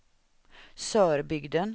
Sörbygden